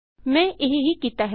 ਮੈੰ ਇਹ ਹੀ ਕੀਤਾ ਹੈ